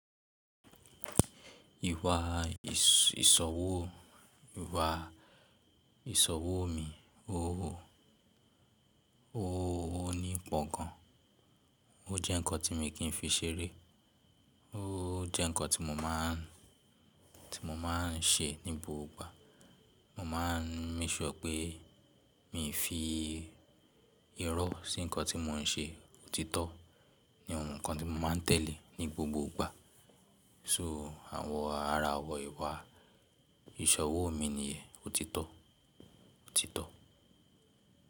Ìwà ìsòwò, ìwà ìṣòwò mi, ooo, ooo ní pọ̀ gan. O jẹ́ nǹkan tí mi kì í fi ṣeré. O jẹ́ nǹkan tí mo máà ń, tí mo máà ń ṣe ní gbogbo ìgbà. Mo máà ń make sure pé mii fi irọ́ sí nǹkan tí mo ń ṣe. O jẹ́ nǹkan tí mo máà ń, tí mo máà ń ṣe ní gbogbo ìgbà. So àwọn ara àwọ̀n ìwà ìṣe òwò mi nìyẹn, òtítọ́, òtítọ́.